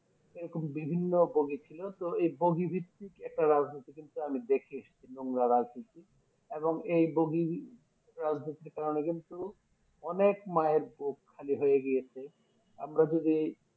এরকম বিভিন্ন বগি ছিল তো এই বগি ভিত্তিক একটা রাজনীতি কিন্তু আমি দেখে এসেছি নোংরা রাজনীতি এবং এই বগি রাজনীতির কারণে কিন্তু অনেক মায়ের বুক খালি হয়ে গিয়েছে আমরা যদি